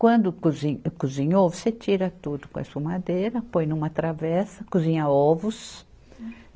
Quando cozin, cozinhou, você tira tudo com a escumadeira, põe numa travessa, cozinha ovos.